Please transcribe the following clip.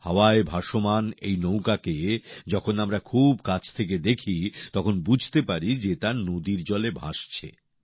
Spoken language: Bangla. হাওয়ায় ভাসমান এই নৌকাকে যখন আমরা খুব কাছ থেকে দেখি তখন বুঝতে পারি যে তা নদীর জলে ভাসছে